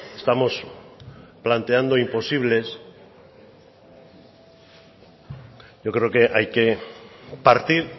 estamos planteando imposibles yo creo que hay que partir